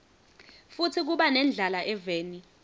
futsi kuba nendlala eveni